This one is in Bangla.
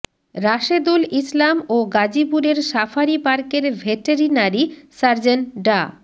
রাশেদুল ইসলাম ও গাজীপুরের সাফারি পার্কের ভেটেরিনারি সার্জন ডা